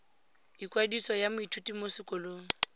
ikwadiso ya moithuti mo sekolong